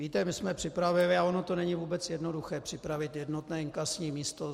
Víte, my jsme připravili, a ono to není vůbec jednoduché připravit jednotné inkasní místo.